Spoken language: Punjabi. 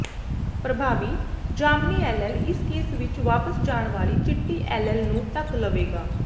ਪ੍ਰਭਾਵੀ ਜਾਮਨੀ ਐਲੇਲ ਇਸ ਕੇਸ ਵਿੱਚ ਵਾਪਸ ਜਾਣ ਵਾਲੀ ਚਿੱਟੀ ਐਲੇਲ ਨੂੰ ਢੱਕ ਲਵੇਗਾ